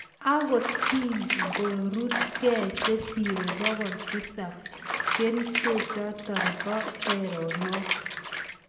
Agokigorutkei chesiree pokol tisap keriche chotok Po erenok